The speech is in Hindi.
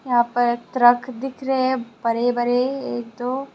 यहां पर ट्रक दिख रहे हैं बरे बरे एक दो--